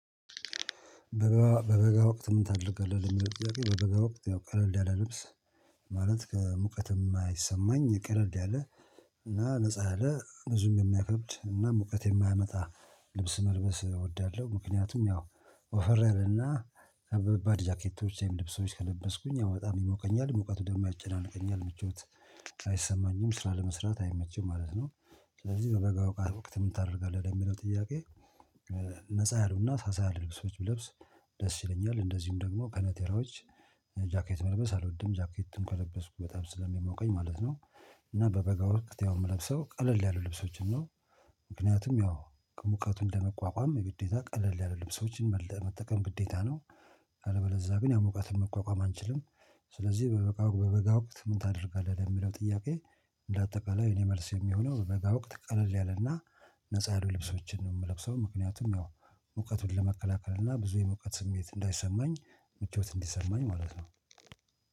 በበጋ በበጋ ወቅት ምን ታደርገዋለህ? በበጋ ወቅት ያው ቀለል ያለ ልብስ። ማለት ከሙቀት የማይሰማኝ ቀለል ያለ እና ነፃ ያለ ብዙም የማይከብድ እና ሙቀት የማያመጣ ልብስ መልበስ እወዳለሁ። ምክንያቱም ያው ወፈር ያለና በባድ ጃኬቶች ወይም ልብሶች ከለበስኩኝ አበጣ የሞቀኛል ሙቀቱ ደግሞ ያጨናንቀኛል ምቾት አይሰማኝም ስራ ለመስራት አይመቸም ማለት ነው። ስለዚህ በበጋ ሞቃት ወቅት ምን ታደርጋለህ ለሚለው ጥያቄ። ነፃ ያሉና ሳሳ ያሉ ልብሶች ብለብስ ደስ ይለኛል። እንደዚሁም ደግሞ ከነቴራዎች ጃኬት መልበስ አልወድም ጃኬትን ከለበስኩ በጣም ስለሚሞቀኝ ማለት ነው። እና በበጋ ወቅት ያው እምለብሰው ቀለል ያሉ ልብሶችን ነው። ምክንያቱም ያው ከሙቀቱ ለመቋቋም የግዴታ ቀለል ያለ ልብሶችን መጠቀም ግዴታ ነው። አለበለዛ ግን ያው ሙቀትን መቋቋም አንችልም። ስለዚህ በበጋ ወቅት ምን ታደርጋለህ ለሚለው ጥያቄ። እንደ አጠቃላይ የኔ መልሴ እሚሆነው በበጋ ወቅት ቀለል ያለና ነፃ ያሉ ልብሶችን ነው የምለብሰው ምክንያቱም ያው ሙቀቱን ለመከላከል እና ብዙ የሙቀት ስሜት እንዳይሰማኝ ምቾት እንዲሰማኝ ማለት ነው።